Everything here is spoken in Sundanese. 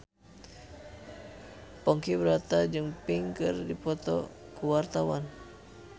Ponky Brata jeung Pink keur dipoto ku wartawan